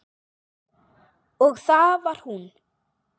Og það var hún.